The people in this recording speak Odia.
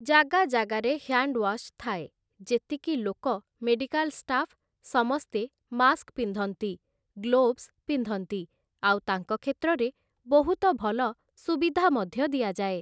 ଜାଗା ଜାଗାରେ ହ୍ୟାଣ୍ଡୱାଶ୍ ଥାଏ । ଯେତିକି ଲୋକ ମେଡ଼ିକାଲ୍ ସ୍ଟାଫ୍, ସମସ୍ତେ ମାସ୍କ୍ ପିନ୍ଧନ୍ତି, ଗ୍ଳୋଭ୍‌ସ ପିନ୍ଧନ୍ତି, ଆଉ ତାଙ୍କ କ୍ଷେତ୍ରରେ ବହୁତ ଭଲ ସୁବିଧା ମଧ୍ୟ ଦିଆଯାଏ ।